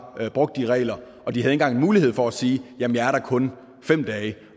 brugt reglerne og de har engang haft mulighed for at sige jamen jeg er der kun fem dage